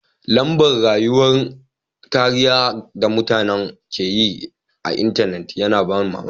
Lamba'n rayuwa'n kariya da mutane ke yi a'intenet yana ban mamaki.